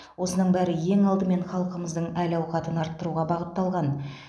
осының бәрі ең алдымен халқымыздың әл ауқатын арттыруға бағытталған